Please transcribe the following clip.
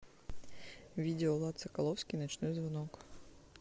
видео влад соколовский ночной звонок